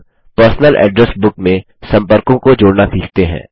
अब personal address book में सम्पर्कों को जोड़ना सीखते हैं